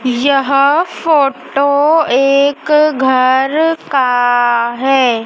यह फोटो एक घर का है।